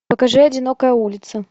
покажи одинокая улица